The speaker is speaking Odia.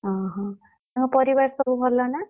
ଓହୋ, ତାଙ୍କ ପରିବାର ସବୁ ଭଲ ନା?